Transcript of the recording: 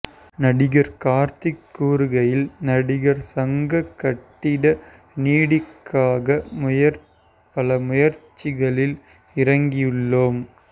நடிகர் கார்த்திக் கூறுகையில் நடிகர் சங்க கட்டிட நிதிக்காக பலமுயற்சிகளில் இறங்கியுள்ளோம்